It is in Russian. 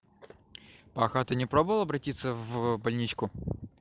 паха ты не пробовала обратиться в больничку